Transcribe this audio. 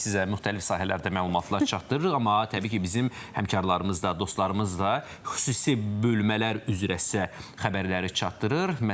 Biz sizə müxtəlif sahələrdə məlumatlar çatdırırıq, amma təbii ki, bizim həmkarlarımız da, dostlarımız da xüsusi bölmələr üzrə sizə xəbərləri çatdırır.